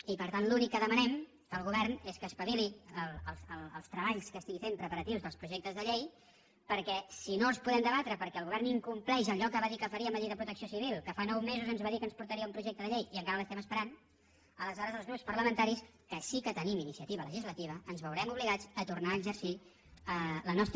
i per tant l’únic que demanem al govern és que espa·vili els treballs que estigui fent preparatius dels projec·tes de llei perquè si no els podem debatre perquè el govern incompleix allò que va dir que faria amb la llei de protecció civil que fa nou mesos ens va dir que ens portaria un projecte de llei i encara l’estem esperant aleshores els grups parlamentaris que sí que tenim ini·ciativa legislativa ens veurem obligats a tornar a exer·cir el nostre